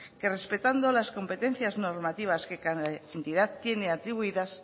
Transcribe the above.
que respetando las competencias normativas que cada entidad tiene atribuidas